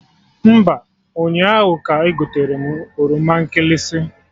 Mba, ụnyaahụ ka egoterem oroma nkịlịsị